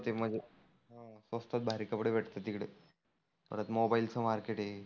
मध्ये स्वस्तात भारी कपडे भेटतात तीकडे. परत मोबाईलचं मार्केट आहे.